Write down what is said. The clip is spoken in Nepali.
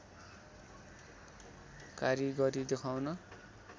कारिगरी देखाउन